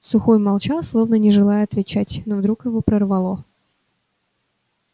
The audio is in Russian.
сухой молчал словно не желая отвечать но вдруг его прорвало